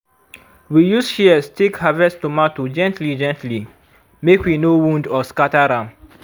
we use shears take harvest tomato gently-gently make we no wound or scatter am.